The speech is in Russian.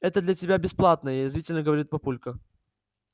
это для тебя бесплатное язвительно говорит папулька